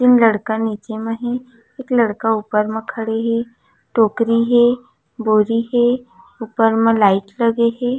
तीन लड़का नीचे म हे एक लड़का ऊपर मा खड़े हे टोकरी हे बोरी हे ऊपर मा लाइट लगे हे।